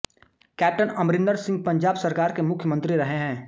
captain Amarinder Singh Punjab सरकार के मुख्यमंत्री रहे हैं